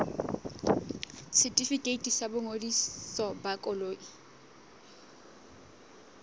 setefikeiti sa boingodiso ba koloi